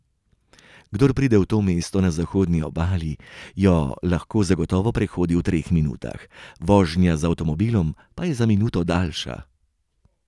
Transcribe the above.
Kdor pride v to mesto na zahodni obali, jo lahko zagotovo prehodi v treh minutah, vožnja z avtomobilom pa je za minuto daljša.